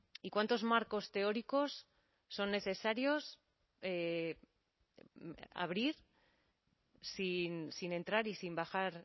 y cuántos marcos teóricos son necesarios abrir sin entrar y sin bajar